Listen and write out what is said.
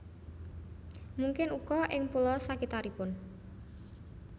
Mungkin uga ing pulo sakitaripun